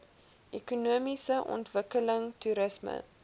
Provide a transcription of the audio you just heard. ekonomiese ontwikkeling toerisme